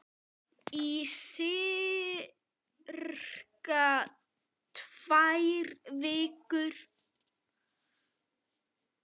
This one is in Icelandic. Í sirka tvær vikur.